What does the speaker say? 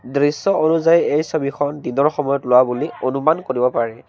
দৃশ্য অনুযায়ী এই ছবিখন দিনৰ সময়ত লোৱা বুলি অনুমান কৰিব পাৰি।